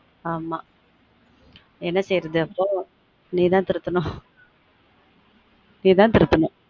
ஆமா என்ன செய்யுறது அப்ப நீ தான் திருத்தனும் நீ தான் திருத்தனும்